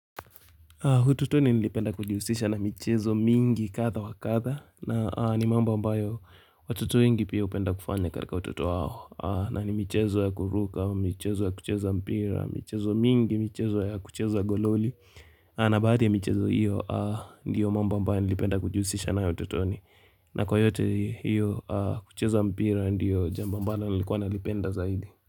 Hututuni nilipenda kujiusisha na michezo mingi kadha wa kadha na ni mambo ambayo watutu wengi pia hupenda kufana nikae kaa watutu wao. A na ni michezo ya kuruka, michezo ya kucheza mpira, michezo mingi, michezo ya kucheza gololi a na baadhi ya michezo hiyo, a ndiyo mambo ambayo nilipenda kujiusisha nayo utotoni. Na kwa yote hiyo a kucheza mpira ndiyo jambo ambalo lilikuwa nalipenda zaidi.